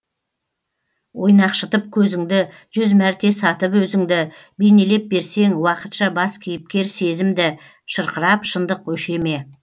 ойнақшытып көзіңді жүз мәрте сатып өзіңді бейнелеп берсең уақытша бас кейіпкер сезімді шырқырап шындық өше ме